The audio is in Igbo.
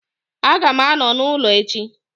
Aga m anọ n'ụlọ echi